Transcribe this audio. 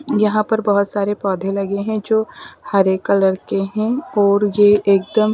यहां पर बहुत सारे पौधे लगे हैं जो हरे कलर के हैं और ये एकदम --